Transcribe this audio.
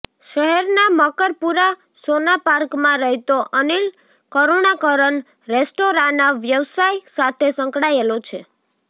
શહેરના મકરપુરા સોનાપાર્કમાં રહેતો અનિલ કરૃણાકરન રેસ્ટોરાંના વ્યવસાય સાથે સંકળાયેલો છે